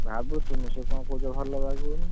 ଭାବୁଥିଲି ସିଏ କଣ କହିଲେ ଭଲ ବାଗଉନି!